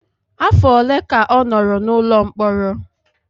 Afọ ole ka ọ nọrọ n'ụlọ mkpọrọ?